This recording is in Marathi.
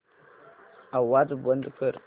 आवाज बंद कर